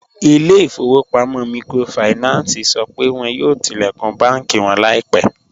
Ilẹ̀-ifọ̀wọ̀pamọ̀ míkrófáìnánsì sọ pé wọn yóò tilẹ̀kún bànki wọn laipẹ